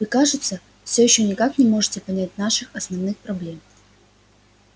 вы кажется все ещё никак не можете понять наших основных проблем